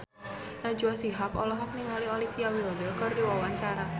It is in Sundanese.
Najwa Shihab olohok ningali Olivia Wilde keur diwawancara